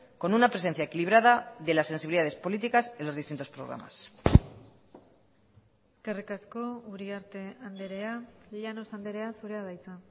con una presencia equilibrada de las sensibilidades políticas en los distintos programas eskerrik asko uriarte andrea llanos andrea zurea da hitza